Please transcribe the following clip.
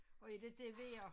Og inte det vil jeg